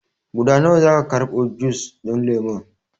Guda nawa za a karɓo jus ɗin lemon?